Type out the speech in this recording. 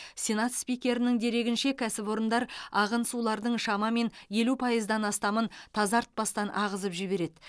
сенат спикерінің дерегінше кәсіпорындар ағын сулардың шамамен елу пайыздан астамын тазартпастан ағызып жібереді